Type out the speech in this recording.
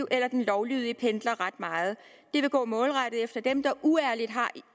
eller den lovlydige pendler ret meget det vil gå målrettet efter dem der uærligt har